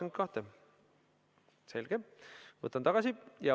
Nr 22, selge.